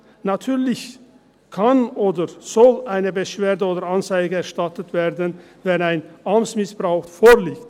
– Natürlich kann oder soll eine Beschwerde oder Anzeige erstattet werden, wenn ein Amtsmissbrauch vorliegt.